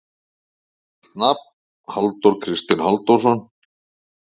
Fullt nafn: Halldór Kristinn Halldórsson.